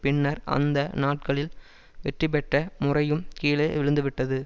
பின்னர் அந்த நாட்களில் வெற்றி பெற்ற முறையும் கீழே விழுந்து விட்டது